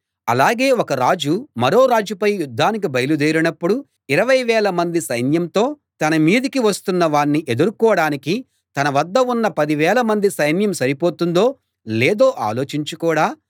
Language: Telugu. అలాగే ఒక రాజు మరో రాజుపై యుద్ధానికి బయలుదేరినప్పుడు ఇరవై వేల మంది సైన్యంతో తన మీదికి వస్తున్నవాణ్ణి ఎదుర్కోడానికి తన వద్ద ఉన్న పదివేల మంది సైన్యం సరిపోతుందో లేదో ఆలోచించుకోడా